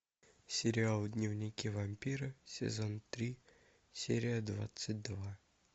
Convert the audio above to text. сериал дневники вампира сезон три серия двадцать два